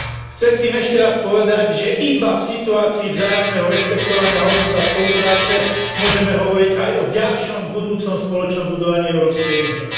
Chcem tým ešte raz povedať, že iba v situácii vzájomného rešpektovania hodnôt a spolupráce môžeme hovoriť aj o ďalšom budúcom spoločnom budovaní Európskej únie.